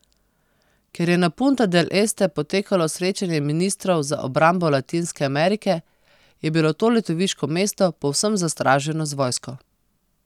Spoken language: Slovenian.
Ker je na Punta del Este potekalo srečanje ministrov za obrambo Latinske Amerike, je bilo to letoviško mesto povsem zastraženo z vojsko.